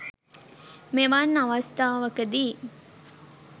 මෙවන් අවස්ථාවකදී